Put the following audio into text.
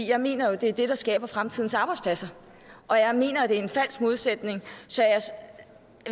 jeg mener det er det der skaber fremtidens arbejdspladser og jeg mener at det er en falsk modsætning så jeg